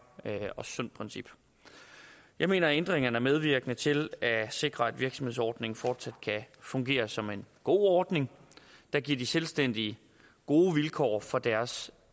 og sundt princip jeg mener at ændringerne er medvirkende til at sikre at virksomhedsordningen fortsat kan fungere som en god ordning der giver de selvstændige gode vilkår for deres